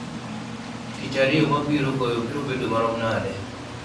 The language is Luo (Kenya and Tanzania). tich ariyo mabiro koyo biro bedo marom nade